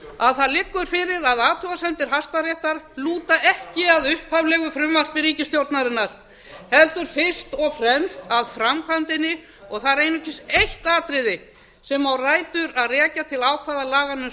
að það liggur fyrir að athugasemdir hæstaréttar lúta ekki að upphaflegu frumvarpi ríkisstjórnarinnar heldur fyrst og fremst að framkvæmdinni og það er einungis eitt atriði sem á rætur að rekja til ákvæða laganna um